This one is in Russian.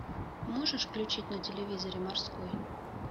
можешь включить на телевизоре морской